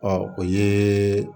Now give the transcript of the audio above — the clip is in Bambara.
Ɔ o ye